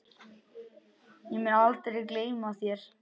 Ég mun aldrei gleyma þér.